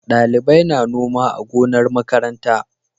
Ɗalibai na noma a gonar makaranta.